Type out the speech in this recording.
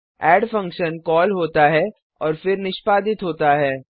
add function call होता है और फिर निष्पादित होता है